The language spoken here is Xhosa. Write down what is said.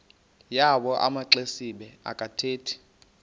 yawo amaxesibe akathethi